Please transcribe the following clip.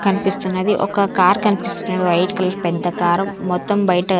కనిపిస్తున్నది ఒక కార్ కనిపిస్తున్నది వైట్ కలర్ పెద్ద కార్ మొత్తం బయట.